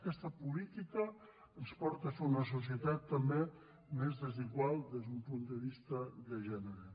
aquesta política ens porta a fer una societat també més desigual des d’un punt de vista de gènere